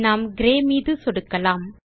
நாம் கிரே நிறத்தின் மீது சொடுக்கலாம்